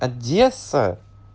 одесса